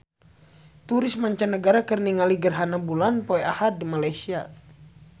Turis mancanagara keur ningali gerhana bulan poe Ahad di Malaysia